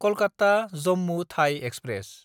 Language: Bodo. कलकाता–जम्मु थाइ एक्सप्रेस